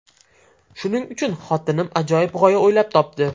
Shuning uchun xotinim ajoyib g‘oya o‘ylab topdi.